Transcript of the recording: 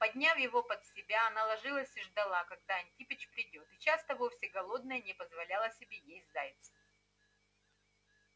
подняв его под себя она ложилась и ждала когда антипыч придёт и часто вовсе голодная не позволяла себе есть зайца